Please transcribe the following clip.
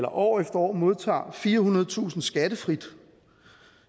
år efter år modtager firehundredetusind kroner skattefrit